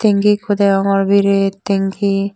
tengki ikko degongor biret tengki.